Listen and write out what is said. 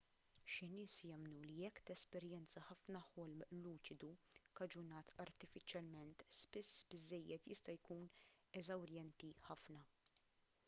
xi nies jemmnu li jekk tesperjenza ħafna ħolm luċidu kkaġunat artifiċjalment spiss biżżejjed jista' jkun eżawrjenti ħafna